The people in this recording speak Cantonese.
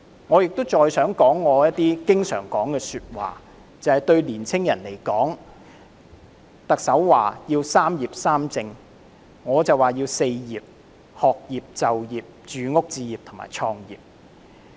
我亦想說一些我經常說的話，也就是對年青人來說，特首說要"三業三政"，我則認為要"四業"——學業、就業、住屋置業和創業。